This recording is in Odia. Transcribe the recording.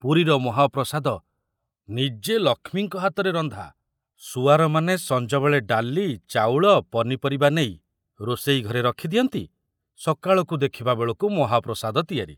ପୁରୀର ମହାପ୍ରସାଦ ନିଜେ ଲକ୍ଷ୍ମୀଙ୍କ ହାତରେ ରନ୍ଧା, ସୁଆରମାନେ ସଞ୍ଜବେଳେ ଡାଲି, ଚାଉଳ, ପନିପରିବା ନେଇ ରୋଷେଇ ଘରେ ରଖି ଦିଅନ୍ତି, ସକାଳକୁ ଦେଖିବା ବେଳକୁ ମହାପ୍ରସାଦ ତିଆରି!